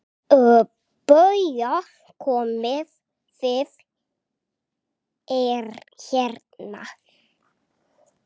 BAUJA: Komið þið hérna!